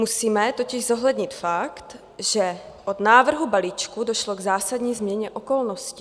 Musíme totiž zohlednit fakt, že od návrhu balíčku došlo k zásadní změně okolností.